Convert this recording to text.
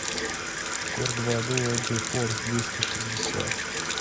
кор два дуо джи форс двести шестьдесят